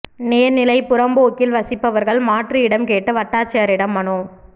நீா்நிலைப் புறம்போக்கில் வசிப்பவா்கள் மாற்று இடம் கேட்டு வட்டாட்சியரிடம் மனு